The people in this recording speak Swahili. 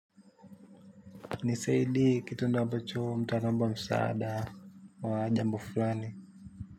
Ni seidi kitu ndo ambacho mtu anaomba msaada wa jambo fulani.